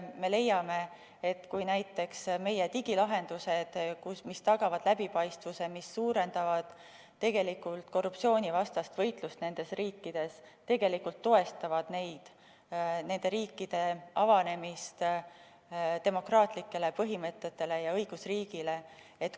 Me leiame, et näiteks meie digilahendused, mis tagavad läbipaistvuse ja suurendavad korruptsioonivastast võitlust nendes riikides, tegelikult toestavad nende riikide avanemist demokraatlikele ja õigusriigi põhimõtetele.